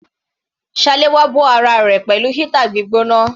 Salewa bó ara rẹ̀ pẹ̀lú heater gbígbóná.